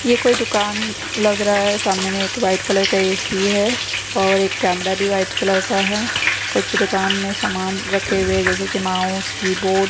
ये कोई दुकान लग रहा है सामने में एक व्हाइट कलर का ऐ_सी है और एक कैमरा भी व्हाइट कलर का है कुछ दुकान में सामान रखे हुए जैसे की माउस कीबोर्ड --